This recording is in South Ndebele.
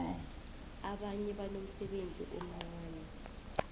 abanye banomsebenzi omncani